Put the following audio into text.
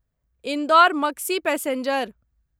Indore Maksi passenger